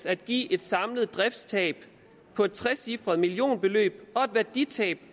at give et samlet driftstab på et trecifret millionbeløb og et værditab